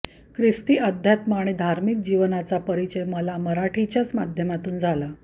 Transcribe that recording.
खिस्ती अध्यात्म आणि धार्मिक जीवनाचा परिचय मला मराठीच्याच माध्यमातून झाला